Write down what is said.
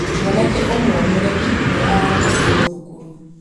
mwanake ũmwe mũremi nĩ aarutirwo thukuru